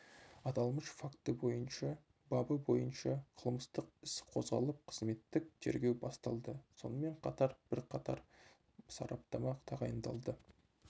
аталмыш факті бойынша бабы бойынша қылмыстық іс қозғалып қызметтік тергеу басталды сонымен қатар бірқатар сараптама тағайындалды